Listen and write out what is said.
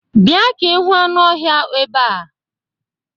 Bịa ka ịhụ anụ ọhịa ebea!